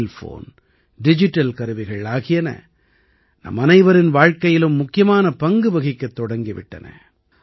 mobile phone digital கருவிகள் ஆகியன நம்மனைவரின் வாழ்க்கையிலும் முக்கியமான பங்கு வகிக்கத் தொடங்கி விட்டன